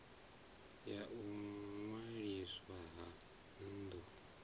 ya u ṅwaliswa ha bindu